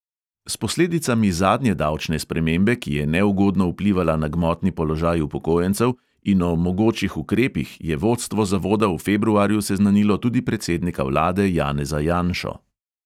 S posledicami zadnje davčne spremembe, ki je neugodno vplivala na gmotni položaj upokojencev, in o mogočih ukrepih je vodstvo zavoda v februarju seznanilo tudi predsednika vlade janeza janšo.